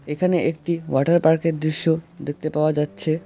এখানে একটি ওয়াটার পার্কের দৃশ্য দেখতে পাওয়া যাচ্ছে।